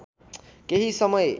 केही समय